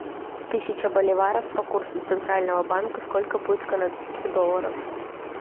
тысяча боливаров по курсу центрального банка сколько будет канадских долларов